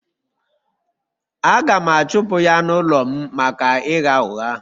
Aga m achụpụ ya n’ụlọ m maka ịgha ụgha.